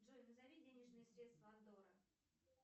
джой назови денежные средства андорры